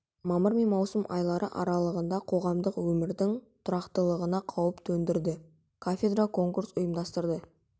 мамыр мен маусым айлары аралығында қоғамдық өмірдің тұрақтылығына қауіп төндірді кафедра конкурс ұйымдастырды